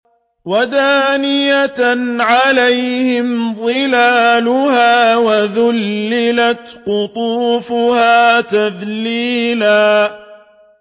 وَدَانِيَةً عَلَيْهِمْ ظِلَالُهَا وَذُلِّلَتْ قُطُوفُهَا تَذْلِيلًا